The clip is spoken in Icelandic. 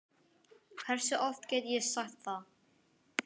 Hversu oft get ég sagt það?